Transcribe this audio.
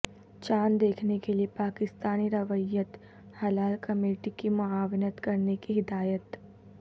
چاند دیکھنے کے لئے پاکستانی رویت ہلال کمیٹی کی معاونت کرنے کی ہدایت